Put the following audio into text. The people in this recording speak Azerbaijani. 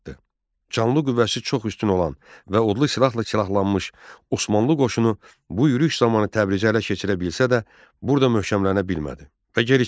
Canlı qüvvəsi çox üstün olan və odlu silahla silahlanmış Osmanlı qoşunu bu yürüş zamanı Təbrizi ələ keçirə bilsə də, burda möhkəmlənə bilmədi və geri çəkildi.